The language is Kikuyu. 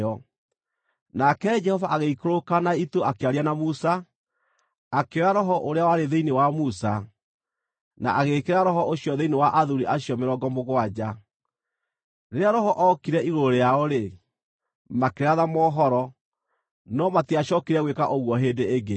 Nake Jehova agĩikũrũka na itu akĩaria na Musa, akĩoya Roho ũrĩa warĩ thĩinĩ wa Musa, na agĩĩkĩra Roho ũcio thĩinĩ wa athuuri acio mĩrongo mũgwanja. Rĩrĩa Roho okire igũrũ rĩao-rĩ, makĩratha mohoro, no matiacookire gwĩka ũguo hĩndĩ ĩngĩ.